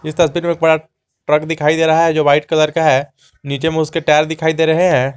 इस तस्वीर में एक बड़ा ट्रक दिखाई दे रहा है जो वाइट कलर का है नीचे में उसके टायर दिखाई दे रहे हैं।